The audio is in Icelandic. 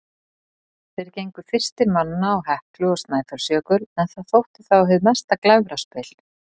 Þeir gengu fyrstir manna á Heklu og Snæfellsjökul, en það þótti þá hið mesta glæfraspil.